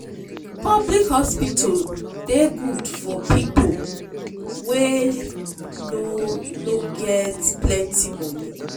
public hospital dey good for people wey no no get plenty monie.